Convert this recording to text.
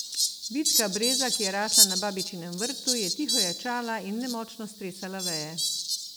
Vitka breza, ki je rasla na babičinem vrtu, je tiho ječala in nemočno stresala veje.